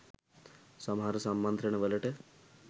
සමහර සම්මන්ත්‍රණ වලට